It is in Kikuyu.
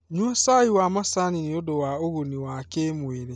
Nyua cai wa macani nĩ ũndũ wa ũguni wa kĩmwĩrĩ.